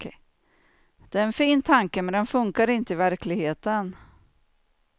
Det är en fin tanke men den funkar inte i verkligheten.